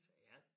Ja